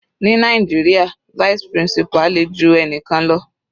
Ní Nàìjíríà vice principal le ju ẹnikan lọ.